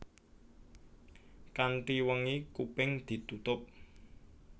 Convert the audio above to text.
Kanthi wengi kuping ditutup